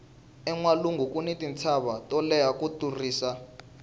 enwalungu kuni tintshava to leha ku tlurisa